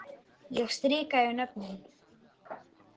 Ég strika yfir nöfnin.